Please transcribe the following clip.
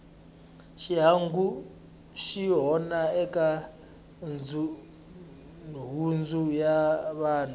xihangu xi onha eka nhundzu ya vanhu